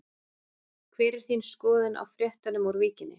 Hver er þín skoðun á fréttunum úr Víkinni?